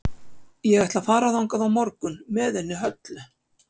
Ég ætla að fara þangað á morgun með henni Höllu.